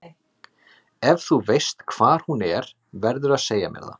Ef þú veist hvar hún er verðurðu að segja mér það.